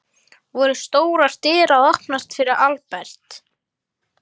Voru stórar dyr að opnast fyrir Albert?